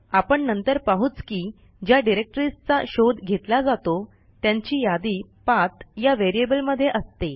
आपण नंतर पाहूच की ज्या डिरेक्टरीजचा शोध घेतला जातो त्यांची यादी पाठ या व्हेरिएबल मध्ये असते